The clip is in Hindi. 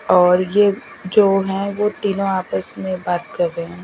और ये जो है वो तीनों आपस में बात कर रहे हैं।